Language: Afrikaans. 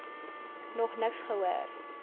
nog niks gehoor